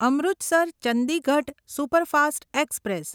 Amritsar Chandigarh superfast express